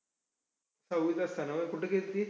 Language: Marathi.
सहावीत असताना व्हय, कुठं गेल्ती?